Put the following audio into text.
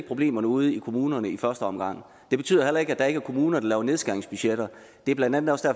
problemerne ude i kommunerne i første omgang det betyder heller ikke at der ikke er kommuner der laver nedskæringsbudgetter det er blandt andet også